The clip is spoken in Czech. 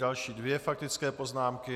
Další dvě faktické poznámky.